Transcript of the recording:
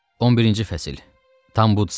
11-ci fəsil.